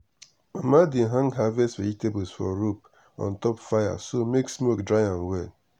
mama dey hang harvest vegetables for rope on top fire so make smoke dry am well.